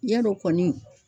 Ya dɔ kɔni.